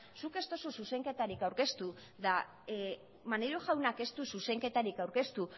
zuk ez duzu zuzenketari aurkezta maneiro jaunak ez du zuzenketari aurkeztu